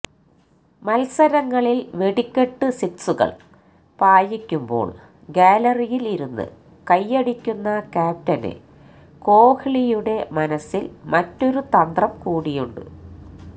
മത്സരങ്ങളില് വെടിക്കട്ട് സിക്സുകള് പായിക്കുമ്പോള് ഗ്യാലറിയില് ഇരുന്ന് കൈയ്യടിക്കുന്ന ക്യാപ്റ്റന് കോഹ്ലിയുടെ മനസ്സില് മറ്റൊരു തന്ത്രം കൂടിയുണ്ട്